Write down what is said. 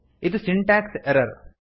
ಇದು syntax error